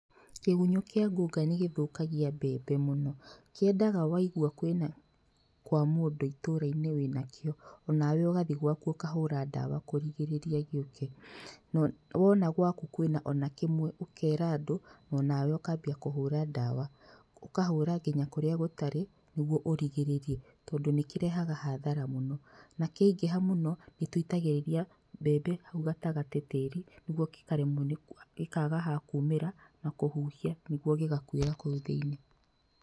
Kĩgunyũ kĩa ngunga nĩgĩthũkagia mbembe mũno. Kĩendaga waigua kwĩna kwa mũndũ itũrainĩ wĩnakĩo onawe ũgathiĩ gwaku ũkahũra ndawa kũrigĩrĩria gĩũke no wona gwaku kwĩna ona kĩmwe ũkera andũ onawe ũkambia kũhũra ndawa ũkahũra nginya kũrĩa gũtarĩ nĩguo urigĩrĩrie tondũ nĩkĩrehaga hathara mũno na kĩaingĩha mũno nĩtuitagĩrĩrĩa mbembe hau gatagatĩ tĩri nĩguo gĩkaremwo gĩkaga ha kumĩra na kũhũhia nĩguo gĩgakuira kũu thĩiniĩ.